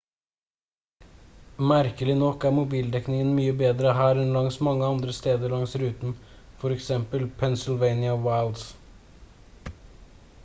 merkelig nok er mobildekningen mye bedre her enn langs mange andre steder langs ruten f.eks pennsylvania wilds